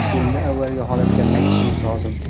Endi avvalgi holatga qaytishimiz lozim.